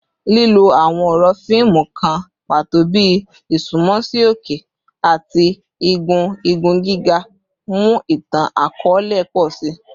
Lilo awọn ọrọ fiimu kan pato bi “isunmọ si oke” ati “igun igun giga” mu itan-akọọlẹ pọ si.